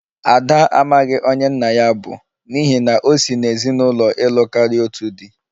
Ada amaghị onye nna ya bụ, n'ihi na o si n'ezinụlọ ịlụ karia otu di